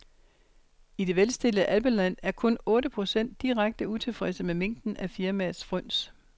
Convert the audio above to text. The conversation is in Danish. I det velstillede alpeland er kun otte procent direkte utilfredse med mængden af firmaets fryns.